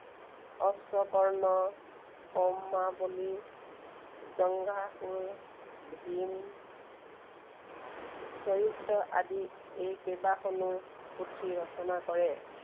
অশ্বকৰ্ণ, সৌমাৱলী, জংঘাসুৰ, ভীম চৰিত আদি এই কেইবাখনো পুথিৰচনা কৰে।